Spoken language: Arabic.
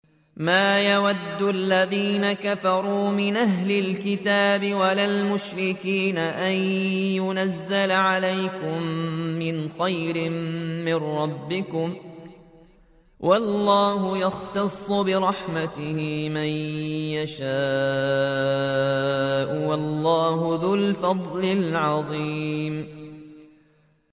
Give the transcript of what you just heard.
مَّا يَوَدُّ الَّذِينَ كَفَرُوا مِنْ أَهْلِ الْكِتَابِ وَلَا الْمُشْرِكِينَ أَن يُنَزَّلَ عَلَيْكُم مِّنْ خَيْرٍ مِّن رَّبِّكُمْ ۗ وَاللَّهُ يَخْتَصُّ بِرَحْمَتِهِ مَن يَشَاءُ ۚ وَاللَّهُ ذُو الْفَضْلِ الْعَظِيمِ